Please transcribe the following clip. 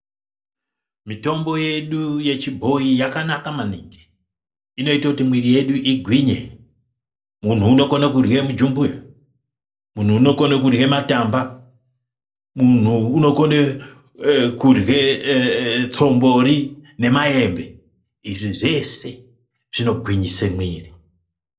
Mitombo yedu yechibhoyi yakanaka maningi, inoita kuti mwiri yedu igwinye. Munhu unokone kurye mujumbuya, munhu unokone kurye matamba, munhu unokone kurye tsombori nemayembe. Izvi zvese zvinogwinyise mwiri.